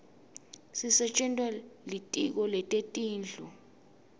sisetjentwa litiko letetindlu